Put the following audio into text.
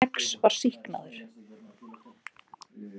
X var sýknaður.